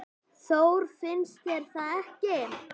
Þór, finnst þér það ekki?